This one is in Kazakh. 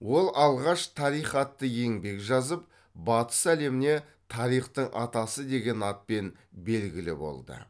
ол алғаш тарих атты еңбек жазып батыс әлеміне тарихтың атасы деген атпен белгілі болды